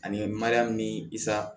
Ani mariyamu nisa